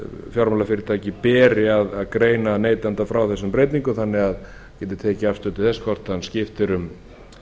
fjármálafyrirtæki beri að greina neytanda frá þessum breytingum þannig að hann geti tekið afstöðu til þess hvort hann skiptir um